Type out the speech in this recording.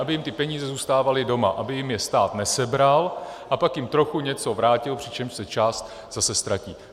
Aby jim ty peníze zůstávaly doma, aby jim je stát nesebral a pak jim trochu něco vrátil, přičemž se část zase ztratí.